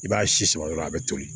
I b'a si sama dɔrɔn a bɛ toli